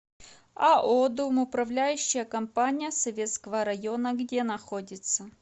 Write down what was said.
ао домоуправляющая компания советского района где находится